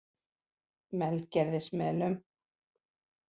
Melgerðismelum